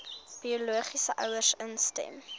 biologiese ouers instem